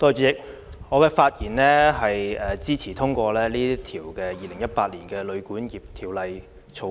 主席，我發言支持通過《2018年旅館業條例草案》。